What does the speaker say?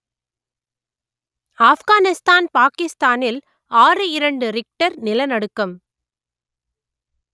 ஆப்கானிஸ்தான் பாகிஸ்தானில் ஆறுஇரண்டு ரிக்டர் நிலநடுக்கம்